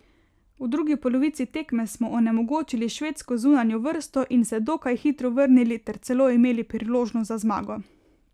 V drugi polovici tekme smo onemogočili švedsko zunanjo vrsto in se dokaj hitro vrnili ter celo imeli priložnost za zmago.